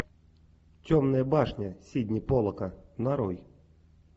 темная башня сидни поллака нарой